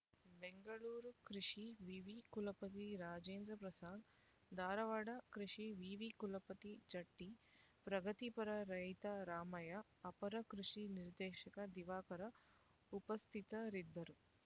ಬೆಂಗಳೂರು ಕೃಷಿ ವಿವಿ ಕುಲಪತಿ ರಾಜೇಂದ್ರ ಪ್ರಸಾದ್ ಧಾರವಾಡ ಕೃಷಿ ವಿವಿ ಕುಲಪತಿ ಜಟ್ಟಿ ಪ್ರಗತಿಪರ ರೈತ ರಾಮಯ್ಯ ಅಪರ ಕೃಷಿ ನಿರ್ದೇಶಕ ದಿವಾಕರ ಉಪಸ್ಥಿತರಿದ್ದರು